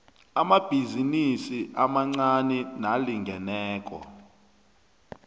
amabhizinisi amancani nalingeneko